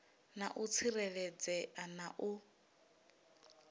na u tsireledzea na u